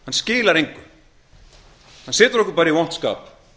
skilar engu hann kemur okkur bara í vont skap